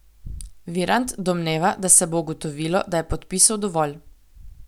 Virant domneva, da se bo ugotovilo, da je podpisov dovolj.